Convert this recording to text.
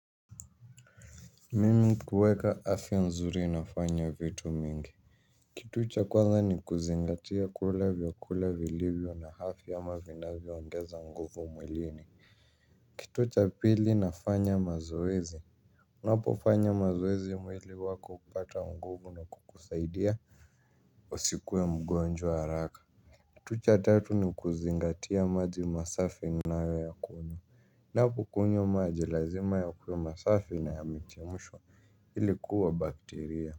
Mimi kuweka afya nzuri nafanya vitu mingi. Kitu cha kwanza ni kuzingatia kula vyakula vilivyo na afya ama vinavyoongeza nguvu mwilini. Kitu cha pili nafanya mazoezi. Napofanya mazoezi mwili wako hupata nguvu na kukusaidia usikuwe mgonjwa haraka. Kitu cha tatu ni kuzingatia maji masafi unayoyakunywa. Napo kunywa maji lazima yakuwe masafi na yamechemshwa ili kuua bakteria.